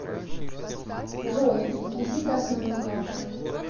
джой реквизиты основной карты